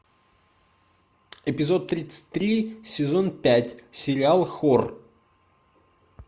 эпизод тридцать три сезон пять сериал хор